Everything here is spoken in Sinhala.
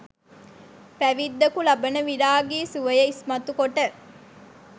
පැවිද්දකු ලබන විරාගි සුවය ඉස්මතු කොට